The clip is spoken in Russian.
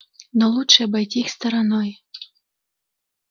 но лучше обойти их стороной